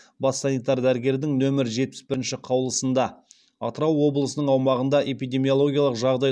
бас санитар дәрігердің нөмір жетпіс бірінші қаулысында атырау облысының аумағында эпидемиологиялық жағдай